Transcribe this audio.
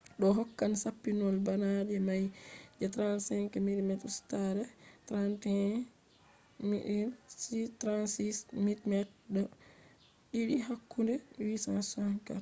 ɗo hokkay sappinol bana nde nay je 35mm ustare 3136mm2 hakunde 864